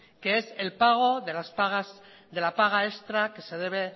que es el pago de la paga extra que se debe